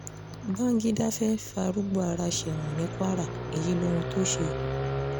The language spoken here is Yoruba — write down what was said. bangida fẹ́ẹ́ farúgbó ara sẹ́wọ̀n ní kwara èyí lohun tó ṣe